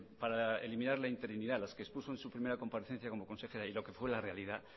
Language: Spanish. para eliminar la interinidad las que expuso en su primera comparecencia como consejera y lo que fue la realidad